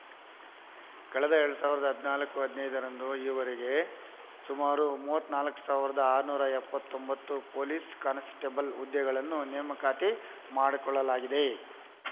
ಕಳೆದ ಎರಡ್ ಸಾವಿರದ ಹದಿನಾಲ್ಕು ಹದಿನೈದರಿಂದ ಈವರೆಗೆ ಸುಮಾರು ಮೂವತ್ತ್ ನಾಲ್ಕು ಸಾವಿರದ ಆರನೂರ ಎಪ್ಪತ್ತೊಂಬತ್ತು ಪೊಲೀಸ್‌ ಕಾನ್‌ಸ್ಟೇಬಲ್‌ ಹುದ್ದೆಗಳನ್ನು ನೇಮಕಾತಿ ಮಾಡಿಕೊಳ್ಳಲಾಗಿದೆ